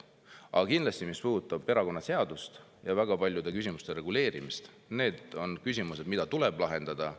Aga kindlasti, mis puudutab erakonnaseadust ja väga paljude küsimuste reguleerimist – need on küsimused, mis tuleb lahendada.